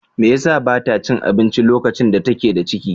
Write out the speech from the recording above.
Me yasa ba ta cin abinci lokacin da take da ciki?